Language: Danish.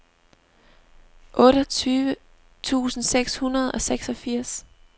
otteogtyve tusind seks hundrede og seksogfirs